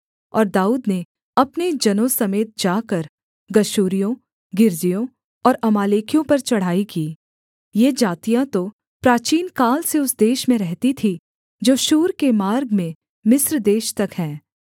और दाऊद ने अपने जनों समेत जाकर गशूरियों गिर्जियों और अमालेकियों पर चढ़ाई की ये जातियाँ तो प्राचीनकाल से उस देश में रहती थीं जो शूर के मार्ग में मिस्र देश तक है